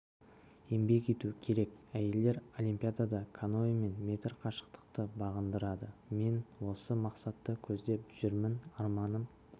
еңбек ету керек әйелдер олимпиадада каноэмен метр қашықтықты бағындырады мен осы мақсатты көздеп жүрмін арманым